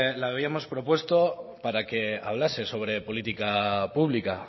habíamos propuesto para que hablase sobre política pública